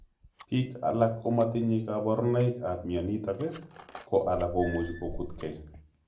Piik alak komatinye kaparunaik ap mnyonit ko alak komuchi kokut kei